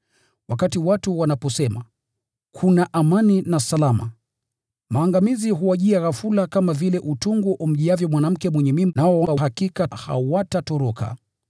Wakati watu wanaposema, “Kuna amani na salama,” maangamizi huwajia ghafula, kama vile utungu umjiavyo mwanamke mwenye mimba; nao hakika hawatatoroka.